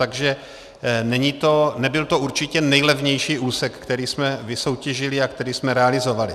Takže nebyl to určitě nejlevnější úsek, který jsme vysoutěžili a který jsme realizovali.